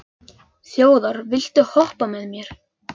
Þjóðar, viltu hoppa með mér?